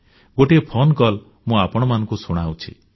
ଗୋଟିଏ ଫୋନକଲ୍ ମୁଁ ଆପଣମାନଙ୍କୁ ଶୁଣାଉଛି